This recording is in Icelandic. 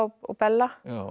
og Bella